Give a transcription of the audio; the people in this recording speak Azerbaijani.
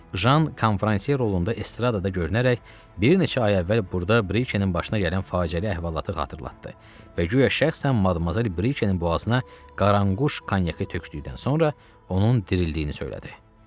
Jan konfransiya rolunda estradda görünərək bir neçə ay əvvəl burda Brikenin başına gələn faciəli əhvalatı xatırlatdı və guya şəxsən Madmazel Brikenin boğazına Qaranquş konyakı tökdükdən sonra onun dirildiyini söylədi.